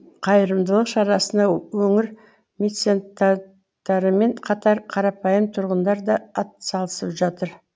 қайырымдылық шарасына өңір мецентаттарымен қатар қарапайым тұрғындар да атсалысып жатыр